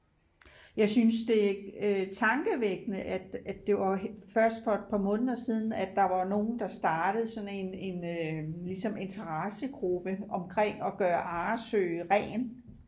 jeg synes det er tankevækkende at det først for et par måneder siden at der var nogen der startede sådan en interessegruppe omkring at gøre Arresø ren